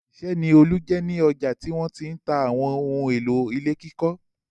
Òṣìṣẹ́ ni Olú ní ọjà tí wọ́n ti ń ta àwọn ohun-èlò ilé kíkọ́.